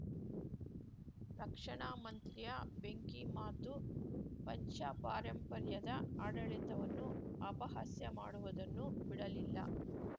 ರಕ್ಷಣಾ ಮಂತ್ರಿಯ ಬೆಂಕಿ ಮಾತು ಪಂಶಪಾರಂಪರ್ಯದ ಆಡಳಿತವನ್ನು ಅಪಹಾಸ್ಯ ಮಾಡುವುದನ್ನೂ ಬಿಡಲಿಲ್ಲ